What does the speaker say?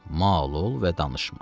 Mal ol və danışma.